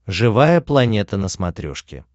живая планета на смотрешке